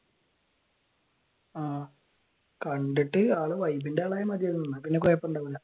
ആഹ് കണ്ടിട്ട് ആൾ വൈബിന്റെ ആളായാൽ മതിയാരുന്നു എന്നാൽ പിന്നെ കുഴപ്പം ഉണ്ടാവില്ല